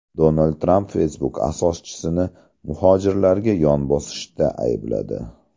Donald Tramp Facebook asoschisini muhojirlarga yon bosishda aybladi.